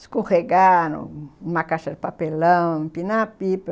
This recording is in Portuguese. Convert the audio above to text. Escorregar numa caixa de papelão, empinar a pipa.